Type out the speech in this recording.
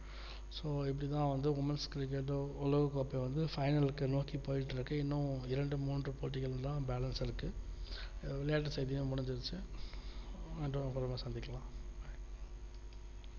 so இப்டிதா வந்து women cricket உலககோப்பை வந்து final க்கு நோக்கி போயிட்டு இருக்கு இன்னு இரண்டு மூன்று போட்டிகள் தான் balance இருக்கு விளையாட்டு செய்திகள்லா முடுஞ்சு அப்புறம்மா சந்திக்கலாம்